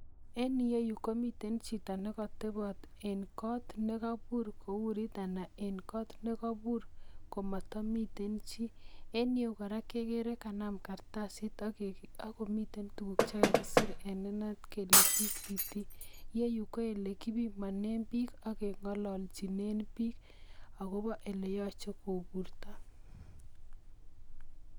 Eng yuro yu komitei chito nekatepot eng kot nekapuur komatamiten chi, eng yu kora, kegeere kanam karatasit akomiten tugk che kakiseer eng inaat kele VCT yeyu ko olekipimane biik ak kengololchine biik akobo ole yoche kopuurto.